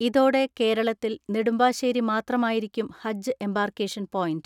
ഇതോടെ കേരളത്തിൽ നെടുമ്പാശേരി മാത്രമായിരിക്കും ഹജ്ജ് എമ്പാർക്കേഷൻ പോയന്റ്.